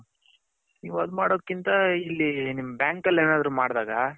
ನೀವು ಅದು ಮಾಡದ್ ಕಿಂತ ಇಲ್ಲಿ ನಿಮ್ಮ bank ಅಲ್ಲಿ ಮಾಡ್ದಾಗ .